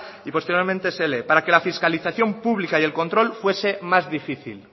y posteriormente scincuenta para que la fiscalización publica y el control fuese más difícil